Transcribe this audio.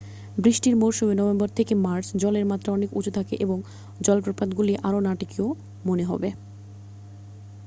বৃষ্টির মরশুমে নভেম্বর থেকে মার্চ জলের মাত্রা অনেক উঁচু থাকে এবং জলপ্রপাতগুলি আরও নাটকীয় মনে হবে।